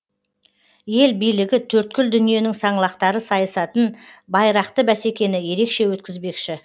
ел билігі төрткүл дүниенің саңлақтары сайысатын байрақты бәсекені ерекше өткізбекші